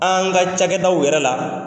An ka cakɛdaw yɛrɛ la.